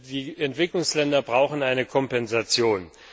Die Entwicklungsländer brauchen eine Kompensation.